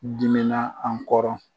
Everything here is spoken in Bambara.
Dimina an kɔrɔ.